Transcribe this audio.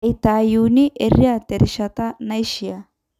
eitayuni eriaa terishata naishiaa